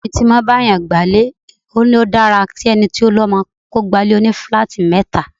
Ọ̀rẹ́ mi tí ó máa ń bá ènìyàn gba'lé ní ó dára ki ẹni tó lọmọ gba ilé òní-filáátì mẹ́ta.